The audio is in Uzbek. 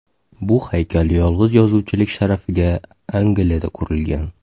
Bu haykal yolg‘iz yozuvchilik sharafiga Angliyada qurilgan.